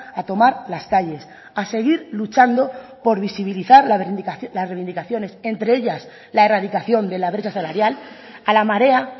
a tomar las calles a seguir luchando por visibilizar las reivindicaciones entre ellas la erradicación de la brecha salarial a la marea